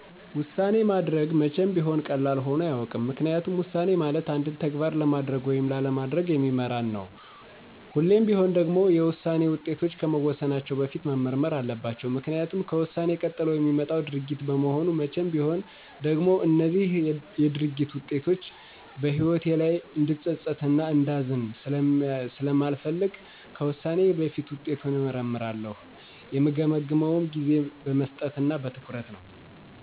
ውሳኔ ማድረግ መቼም ቢሆን ቀላል ሆኖ አያውቅም። ምክንያቱም ውሳኔ ማለት አንድን ተግባር ለማድረግ ወይም ላለማድረግ የሚመራን ተግባር ነው። ሁሌም ቢሆን ደግሞ የውሳኔ ውጤቶች ከመወሰናቸው በፊት መመርመር አለባቸው። ምክኒያቱም ከውሳኔ ቀጥሎ የሚመጣው ድርጊት በመሆኑ መቼም ቢሆን ደግሞ እነዚህ የድርጊት ውጤቶች በህይወቴ ላይ እንድፀፀት እና እንዳዝን ስለማልፈልግ ከውሳኔዬ በፊት ውጤቱን እመረረምራለሁ። የምገመግመውም ጊዜ በመስጠት እና በትኩረት ነው።